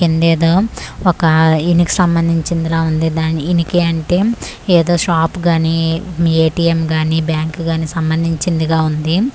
కిందేదో ఒక ఇనికి సంబంధించిందిలా ఉంది దాని ఇనికి అంటే ఎదో షాపు గాని ఏ_టీ_యమ్ గాని బ్యాంకు గాని సంబంధించినిదిగా ఉంది.